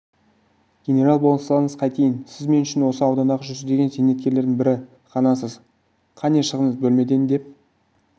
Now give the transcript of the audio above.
генерал болсаңыз қайтейін сіз мен үшін осы аудандағы жүздеген зейнеткерлердің бірі ғанасыз қане шығыңыз бөлмеден деп